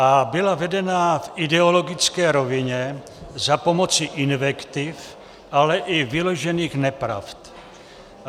- a byla vedena v ideologické rovině za pomoci invektiv, ale i vyložených nepravd.